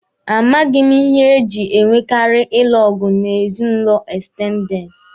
A maghị m ihe e jị e nwekaari ịlụ ọgụ n'ezinụlọ ekstendede